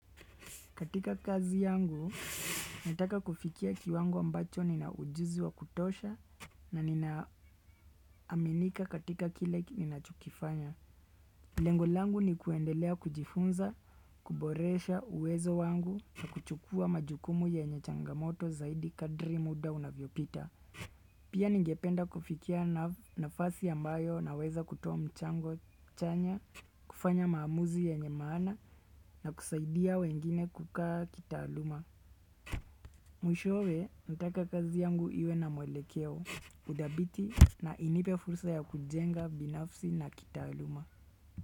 Katika kazi yangu, nataka kufikia kiwango ambacho nina ujuzi wa kutosha na ninaaminika katika kile ninachokifanya. Lengolangu ni kuendelea kujifunza, kuboresha uwezo wangu na kuchukua majukumu yenye changamoto zaidi kadri muda unavyopita. Pia ningependa kufikia nafasi na ambayo na weza kutoa mchango chanya, kufanya maamuzi ya nye maana na kusaidia wengine kukaa kitaaluma. Mwishowe, nataka kazi yangu iwe na mwelekeo, udhabiti na inipe fursa ya kujenga binafsi na kitaaluma.